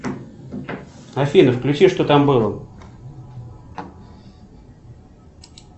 афина включи что там было